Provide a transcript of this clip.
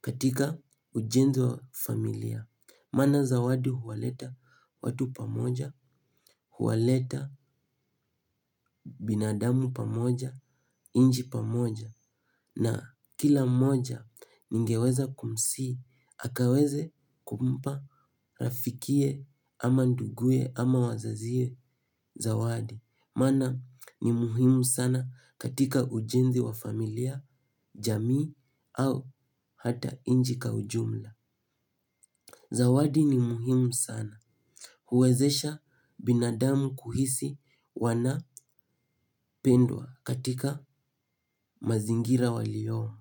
katika ujenzi wa familia. Maana zawadi huwaleta watu pamoja, huwaleta binadamu pamoja, nchi pamoja na kila mmoja ningeweza kumsihi akaweze kumpa rafikiye ama nduguye ama wazaziye zawadi. Maana ni muhimu sana katika ujenzi wa familia, jamii au hata nchi kwa ujumla. Zawadi ni mhimu sana huwezesha binadamu kuhisi wanapendwa katika mazingira waliyomo.